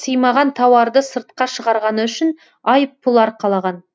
сыймаған тауарды сыртқа шығарғаны үшін айыппұл арқалаған